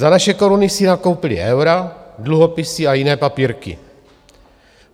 Za naše koruny si nakoupili eura, dluhopisy a jiné papírky.